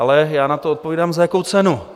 Ale já na to odpovídám, za jakou cenu?